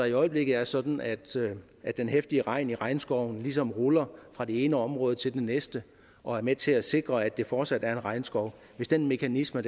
i øjeblikket sådan at sådan at den heftige regn i regnskoven ligesom ruller fra det ene område til det næste og er med til at sikre at det fortsat er en regnskov og hvis den mekanisme